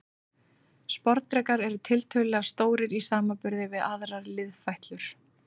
Sporðdrekar eru tiltölulega stórir í samanburði við aðrar liðfætlur.